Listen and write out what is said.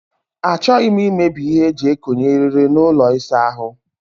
Achọghị m imebi ihe eji ekonye eriri n'ụlọ ịsa ahụ.